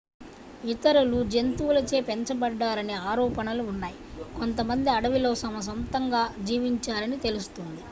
ఇతరులు జంతువులచే పెంచబడ్డారని ఆరోపణలు ఉన్నాయి కొంతమంది అడవిలో తమ సొంతంగా జీవించారని తెలుస్తుంది